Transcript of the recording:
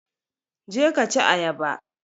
Je ka ci ayaba!